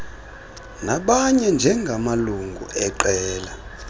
nabanye njengamalungu eqela